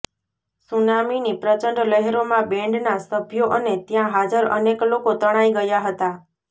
સુનામીની પ્રચંડ લહેરોમાં બેન્ડના સભ્યો અને ત્યાં હાજર અનેક લોકો તણાઈ ગયા હતા